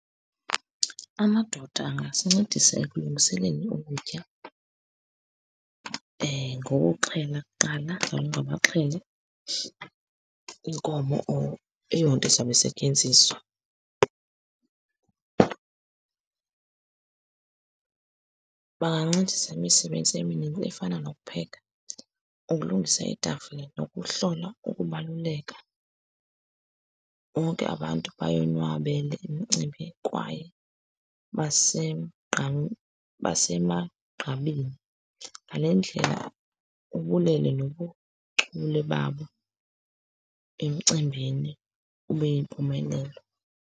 Amadoda angasincedisa ekulungiseleni ukutya ngokuxhela kuqala, baxhele inkomo or eyonto izawube isetyenziswa. Bangancedisa imisebenzi efana nokupheka, ukulungisa iitafile, nokuhlola ukubaluleka, bonke abantu bayonwabela imicimbi kwaye basemgqa basemagqabini. Ngale ndlela, ubulele nobuchule babo emcimbini ube yimpumelelo.